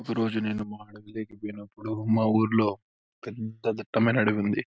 ఒక రోజు నేను పోయినప్పుడు మా ఊరులో పెద్ద దిట్టమైన అడివి ఉంది.